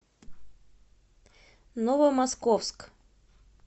новомосковск